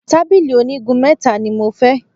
Tábìlì oní igun mẹ́ta ni mo fẹ́.